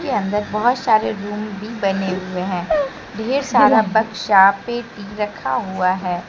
के अंदर बहुत सारे रूम भी बने हुए हैं ढेर सारा बक्सा पेटी रखा हुआ है।